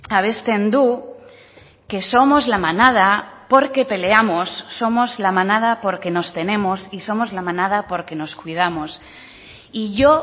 abesten du que somos la manada porque peleamos somos la manada porque nos tenemos y somos la manada porque nos cuidamos y yo